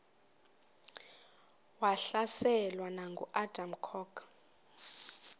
wahlaselwa nanguadam kok